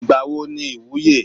Ìgbà wo ni ìwúye?